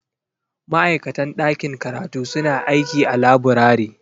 Ma'aikatan ɗakin karatu suna aiki a laburare.